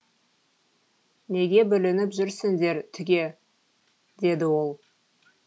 неге бүлініп жүрсіңдер түге деді ол